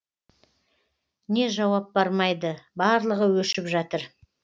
не жауап бармайды барлығы өшіп жатыр